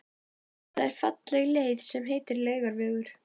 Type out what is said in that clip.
Það er falleg leið sem heitir Laugavegur.